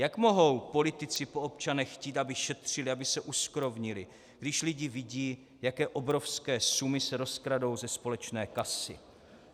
Jak mohou politici po občanech chtít, aby šetřili, aby se uskrovnili, když lidi vidí, jaké obrovské sumy se rozkradou ze společné kasy?"